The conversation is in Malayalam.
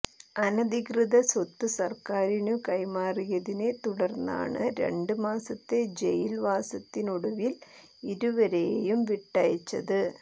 അനധികൃത സ്വത്ത് സർക്കാരിനു കൈമാറിയതിനെ തുടർന്നാണ് രണ്ട് മാസത്തെ ജയിൽ വാസത്തിനൊടുവിൽ ഇരുവരെയും വിട്ടയച്ചത്